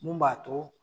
Mun b'a to